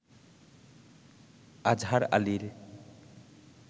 আজহার আলীর